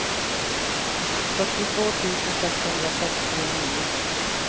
fyrtiotvå tusen sexhundrasextionio